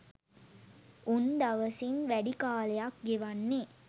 උන් දවසින් වැඩි කාලයක් ගෙවන්නේ